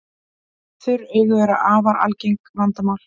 Þurr augu eru afar algengt vandamál.